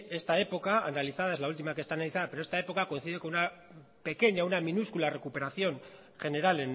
esta época coincide con una minúscula recuperación general